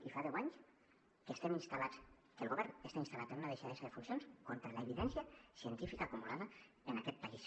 i fa deu anys que el govern està instal·lat en una deixadesa de funcions contra l’evidència científica acumulada en aquest país